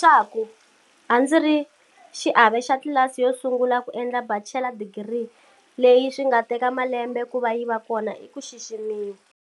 Leswaku a ndzi ri xiave xa tlilasi yo sungula ku endla bachela digiri, leyi swi nga teka malambe ku va yi va kona i ku xiximiwa.